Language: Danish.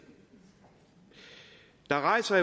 der rejser